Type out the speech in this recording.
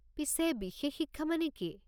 পিছে, বিশেষ শিক্ষা মানে কি?